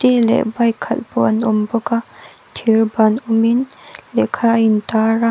leh bike khalh pawh an awm bawk a thirban awm in lehkha a intar a.